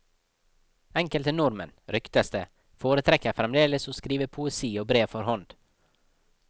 Enkelte nordmenn, ryktes det, foretrekker fremdeles å skrive poesi og brev for hånd.